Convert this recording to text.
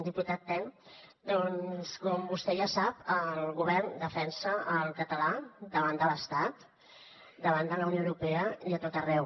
diputat ten doncs com vostè ja sap el govern defensa el català davant de l’estat davant de la unió europea i a tot arreu